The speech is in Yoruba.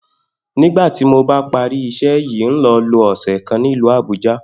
Nígbà tí mo bá parí is̩é̩ yìí, n óò lo̩ lo ò̩sè̩ kan ní ìlú Àbúja